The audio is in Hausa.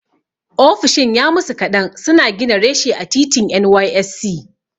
Ofishin ya musu kaɗan suna gina reshe a titin NYSC.